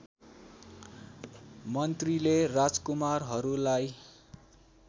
मन्त्रीले राजकुमारहरूलाई